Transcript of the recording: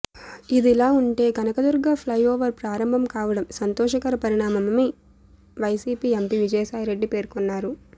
ఇదిలా ఉంటే కనకదుర్గ ఫ్లైఓవర్ ప్రారంభం కావడం సంతోషకర పరిణామమని వైసీపీ ఎంపీ విజయసాయి రెడ్డి పేర్కొన్నారు